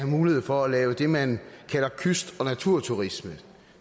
mulighed for at lave det man kalder kyst og naturturisme